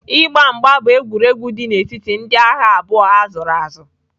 Ịgba mgba bụ egwuregwu dị n'etiti ndị agha abụọ a zụrụ azụ.